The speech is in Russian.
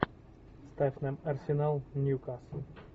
ставь нам арсенал ньюкасл